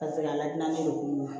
Ka segin ka lakana ni kunun